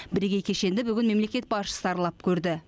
бірегей кешенді бүгін мемлекет басшысы аралап көрді